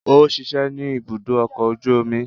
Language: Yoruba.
O ṣiṣẹ ni ìbùdó ọkọ oju omi